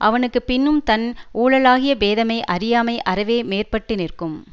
அவனுக்கு பின்னும் தன் ஊழாலாகிய பேதைமை அறியாமை அறவே மேற்பட்டு நிற்கும்